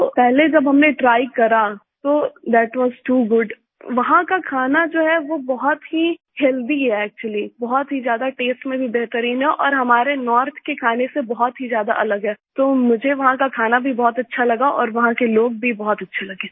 तो पहले जब हमने ट्राय करा तो थाट वास टू goodवहाँ का खाना जो है वो बहुत ही हेल्थी है एक्चुअली बहुत ही ज्यादा तस्ते में भी बेहतरीन है और हमारे नॉर्थ के खाने से बहुत ही ज्यादा अलग है तो मुझे वहाँ का खाना भी बहुत अच्छा लगा और वहाँ के लोग भी बहुत अच्छे लगे